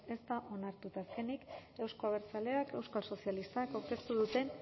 ez da onartu eta azkenik euzko abertzaleak euskal sozialistak aurkeztu duten